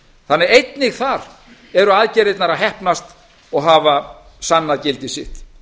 þannig að einnig þar eru aðgerðirnar að heppnast og hafa sannað gildi sitt